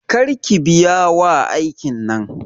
Kar ki biya wa aikin nan.